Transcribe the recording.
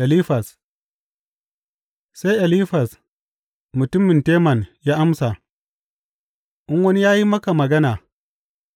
Elifaz Sai Elifaz mutumin Teman ya amsa, In wani ya yi maka magana,